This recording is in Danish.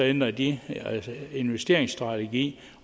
ændrer de investeringsstrategi